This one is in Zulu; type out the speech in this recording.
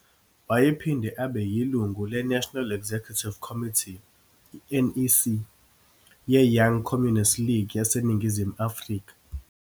Wayephinde abe yilungu leNational Executive Committee, NEC, yeYoung Communist League yaseNingizimu Afrika.